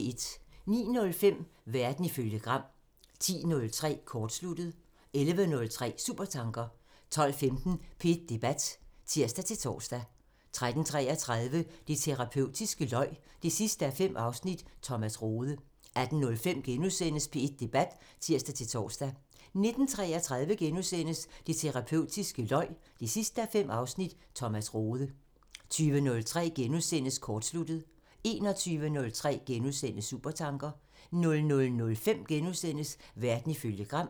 09:05: Verden ifølge Gram (tir) 10:03: Kortsluttet (tir) 11:03: Supertanker (tir) 12:15: P1 Debat (tir-tor) 13:33: Det terapeutiske løg 5:5 – Thomas Rode 18:05: P1 Debat *(tir-tor) 19:33: Det terapeutiske løg 5:5 – Thomas Rode * 20:03: Kortsluttet *(tir) 21:03: Supertanker *(tir) 00:05: Verden ifølge Gram *(tir)